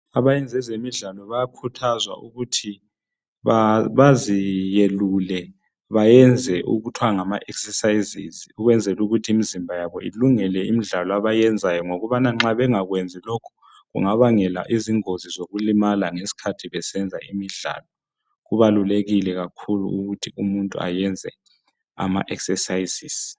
Abayenza ezemidlalo bayakhuthazwa ukuthi baziyelule bayenze okuthiwa ngama exercises ukwenzela ukuthi imizimba yabo ilungele imidlalo abayenzayo ngobana nxa bengakwenzi lokhu kungabangela ingozi zokulimala ngeskhathi besenza imidlalo kubalulekile kakhulu ukuthi umuntu ayenze ama exercises.